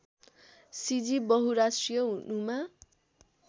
सिजी बहुराष्ट्रिय हुनुमा